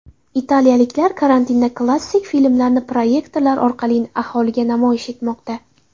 Italiyaliklar karantinda klassik filmlarni proyektorlar orqali aholiga namoyish etmoqda.